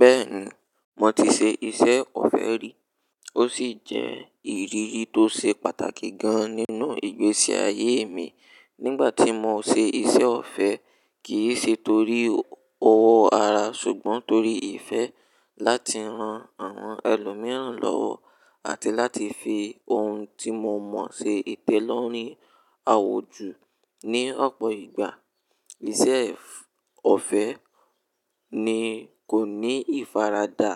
Bẹ́ẹ̀ni, mo ti ṣe iṣẹ́ ọ̀fẹ́ rí. Ó sì jẹ́ ìrírí tó ṣe pàtàkì gan-an nínú ìgbésí ayé mi. Nígbà tí mo ṣe iṣẹ́ ọ̀fẹ́, kì í ṣe torí owó ara ṣùgbọ́n torí ìfẹ́ láti ran àwọn ẹlòmíràn lọ́wọ́ àti láti fi ohun tí mo mọ̀ ṣe ìtẹ́lọ́rùn awùjọ. Ni ọ̀pọ̀ ìgbà, iṣẹ́ ọ̀fẹ́ ní kò ní ìfaradà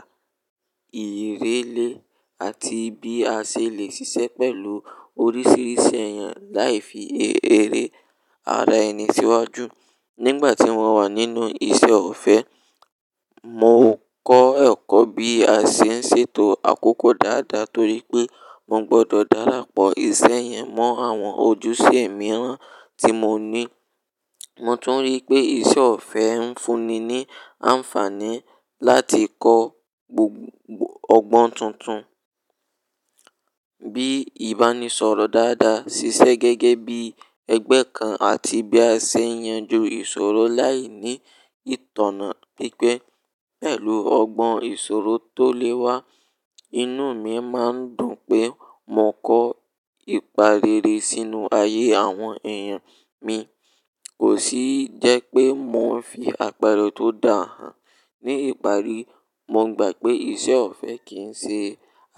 ìrẹ́lẹ̀ àti bí a ṣe le ṣiṣẹ́ pẹ̀lú oríṣiríṣi èèyàn láì fi èrè ara ẹni síwájú. Nígbà tí mo wà nínú iṣẹ́ ọ̀fẹ́, mo kọ́ ẹ̀kọ́ bí a ṣe ń ṣètò àkókò dáadáa torí pé mo gbọdọ̀ darapọ̀ iṣẹ́ yẹn mọ́ àwọn ojúṣe mìíràn tí mo ní. Mo tún rí pé iṣẹ́ ọ̀fẹ́ ń fún ni ní àǹfààní láti kọ́ ọgbọ́n tuntun bíi ìbánisọ̀rọ̀ dáadáa, ṣiṣẹ́ gẹ́gẹ́ bí ẹgbẹ́ kan, àti bí a ṣe yanju ìṣòro láì ní ìtànná. Gẹ́gẹ́ pẹ̀lú ọgbọ́n ìṣòro tó lẹ́wá, inú mi máa ń dùn pé mo kọ́ ìpà rere sínú ayé àwọn èèyàn mi, kò sì jẹ́ pé mo ń fi àpẹ̀rẹ tó dà hàn. Ni ìparí, mo gbà pé iṣẹ́ ọ̀fẹ́ kì ń ṣe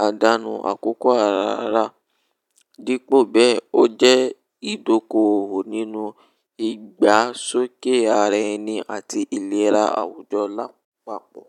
àdánù àkókò ara ara, dípò bẹ́ẹ̀ ó jẹ́ ìdókòwò nínú ìgbásókè ara ẹni àti ìlera àwùjọ lápapọ̀.